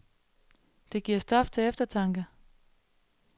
Det giver stof til eftertanke.